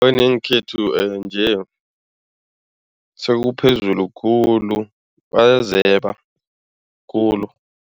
nje sekuphezulu khulu bayazeba khulu.